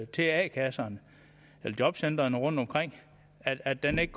til a kasserne eller jobcentrene rundtomkring at den ikke